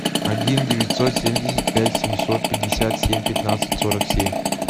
один девятьсот семьдесят пять семьсот пятьдесят семь пятнадцать сорок семь